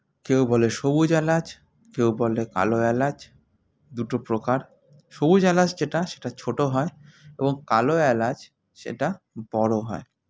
কেউ বলে সবুজ এলাচ কেউ বলে কালো এলাচ দুটো প্রকার সবুজ এলাচ যেটা সেটা ছোটো হয় এবং কালো এলাচ সেটা বড়ো হয়